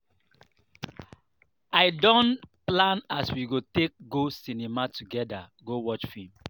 i don plan as we go take go cinema togeda go watch film.